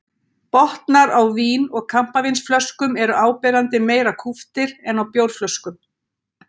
Botnar á vín- og kampavínsflöskum eru áberandi meira kúptir en á bjórflöskum.